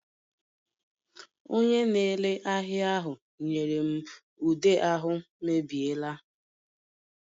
Onye na-ere ahịa ahụ nyere m ude ahụ mebiela